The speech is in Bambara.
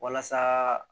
Walasa